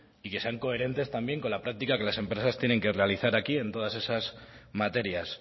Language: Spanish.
y que sean coherentes también con la práctica que las empresas tienen que realizar aquí en todas esas materias